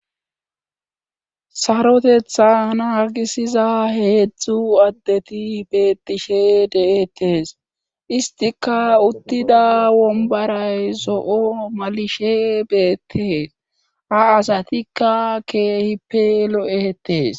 Sarotetha naagisiza heezzu addeti beetishe de'ettees .Istika uttida wombaray zo'o malishe beettees. A asatikka keehippe lo'ettes.